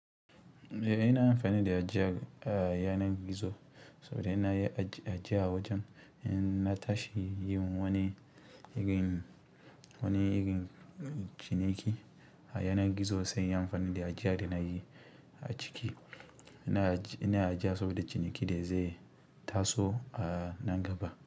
Eh ina amfani da ajiya a yanar gizo saboda ina ajiya wajen na tashi yin wani irin, wani irin ciniki a yanar gizo sai in yi amfani da ajiya da nayi a ciki. Ina, ajiya saboda ciniki da zai taso a nan gaba.